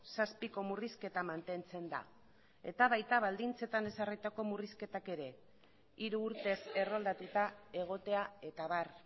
zazpiko murrizketa mantentzen da eta baita baldintzetan ezarritako murrizketak ere hiru urtez erroldatuta egotea eta abar